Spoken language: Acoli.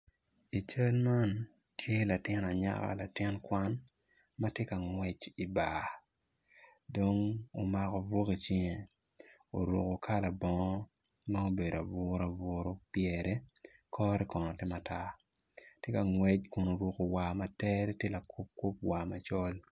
I cal man tye latin anyaka latin kwan matye ka ngwec i bar dong omalo buk icinge oruko kala bongo ma obedo aburu aburu pyere kore kono tye matar tye ka ngwec kun oruko war ma tere tye lakuo kup war macol